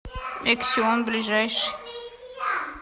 эксион ближайший